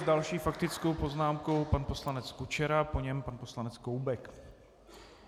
S další faktickou poznámkou pan poslanec Kučera, po něm pan poslanec Koubek.